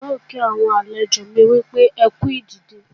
N ò kí àwọn àlejò mi pé wọ́n kú ìdìde mi